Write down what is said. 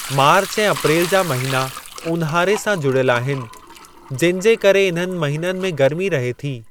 मार्च ऐं अप्रेल जा महिना ऊन्हारे सां जुड़ियल आहिनि, जिनि जे करे इन्हनि महिननि में गर्मी रहे थी।